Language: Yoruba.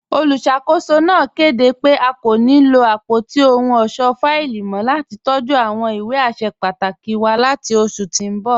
Olúṣakòsò náà kẹdé pẹ̀ à kò ní lọ apọ̀tí òhùn ọṣọ́ fáìlì mọ̀ lati tọ̀jú awọn ìwé àṣẹ pàtàkì wà láti oṣù tí n bọ.